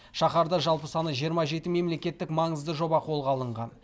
шаһарда жалпы саны жиырма жеті мемлекеттік маңызды жоба қолға алынған